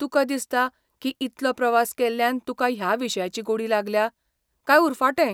तुका दिसता की इतलो प्रवास केल्ल्यान तुका ह्या विशयाची गोडी लागल्या, काय उरफाटें?